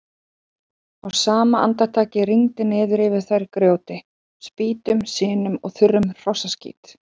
Á sama andartaki rigndi niður yfir þær grjóti, spýtum, sinu og þurrum hrossaskít.